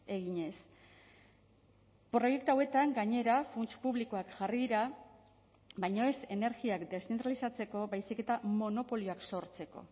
eginez proiektu hauetan gainera funts publikoak jarri dira baina ez energiak deszentralizatzeko baizik eta monopolioak sortzeko